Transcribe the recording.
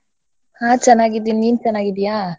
ಹಾ ಚನಾಗಿದೀನಿ ನಿನ್ ಚನ್ನಾಗಿದ್ಯಾ?